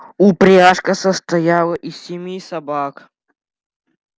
упряжка состояла из семи собак